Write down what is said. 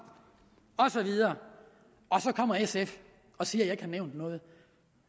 osv og så kommer sf og siger jeg ikke har nævnt noget